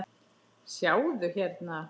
Sjáðu hérna.